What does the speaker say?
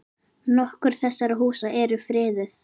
Nokkur þessara húsa eru friðuð.